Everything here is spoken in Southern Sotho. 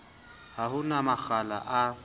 ha ho na makgala a